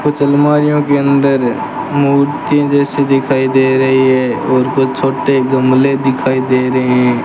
कुछ आलमारियों के अंदर मूर्ति जैसे दिखाई दे रही है और कुछ छोटे गमले दिखाई दे रहे --